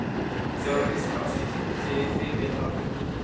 Þóra Kristín Ásgeirsdóttir:. þið hrifin af hugmyndinni?